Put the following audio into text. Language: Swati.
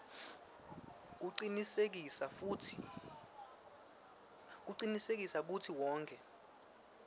kucinisekisa kutsi wonkhe